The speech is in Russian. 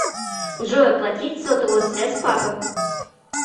джой оплатить сотовую связь папы